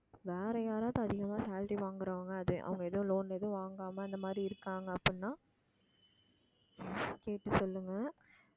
வேற யாராவது அதிகமா salary வாங்குறவங்க அது அவங்க ஏதோ loan ஏதும் வாங்காம அந்த மாதிரி இருக்காங்க அப்படின்னா கேட்டு சொல்லுங்க